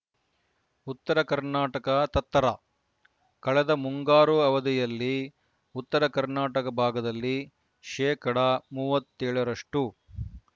ಉತ್ತರ ಕರ್ನಾಟಕ ತತ್ತರ ಕಳೆದ ಮುಂಗಾರು ಅವಧಿಯಲ್ಲಿ ಉತ್ತರ ಕರ್ನಾಟಕ ಭಾಗದಲ್ಲಿ ಶೇಕಡಾ ಮೂವತ್ತ್ ಏಳು ರಷ್ಟು